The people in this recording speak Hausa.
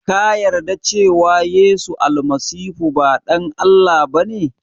Ka yarda da cewa yesu almasihu ba ɗan Allah ba ne?